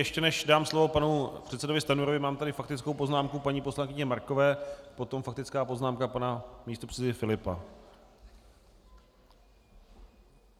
Ještě než dám slovo panu předsedovi Stanjurovi, mám tady faktickou poznámku paní poslankyně Markové, potom faktická poznámka pana místopředsedy Filipa.